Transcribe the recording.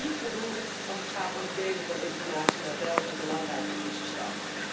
Dat is nog niet voldoende als het gaat om het delen van informatie, maar wel een belangrijke eerste stap.